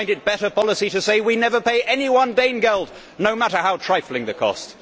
You will find it better policy to say We never pay any one Dane geld, No matter how trifling the cost